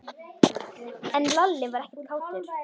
En Lalli var ekkert kátur.